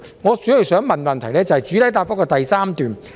我主要想問的，是關於主體答覆第三部分。